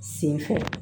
Sen fɛ